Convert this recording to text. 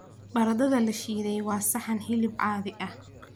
Baradhada la shiiday waa saxan hilib caadi ah.